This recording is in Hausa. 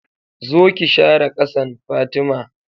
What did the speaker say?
Zo ki share ƙasan, Fatima